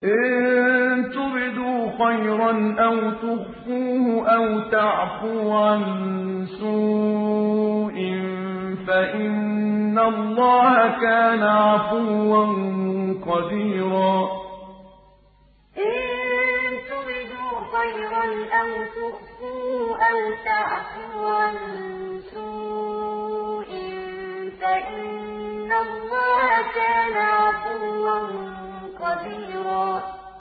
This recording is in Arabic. إِن تُبْدُوا خَيْرًا أَوْ تُخْفُوهُ أَوْ تَعْفُوا عَن سُوءٍ فَإِنَّ اللَّهَ كَانَ عَفُوًّا قَدِيرًا إِن تُبْدُوا خَيْرًا أَوْ تُخْفُوهُ أَوْ تَعْفُوا عَن سُوءٍ فَإِنَّ اللَّهَ كَانَ عَفُوًّا قَدِيرًا